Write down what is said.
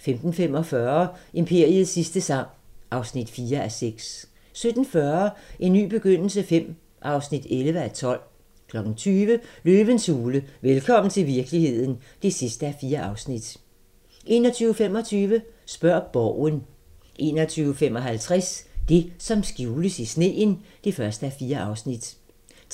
16:45: Imperiets sidste sang (4:6) 17:40: En ny begyndelse V (11:12) 20:00: Løvens hule – velkommen til virkeligheden (4:4) 21:25: Spørg Borgen 21:55: Det, som skjules i sneen (1:4)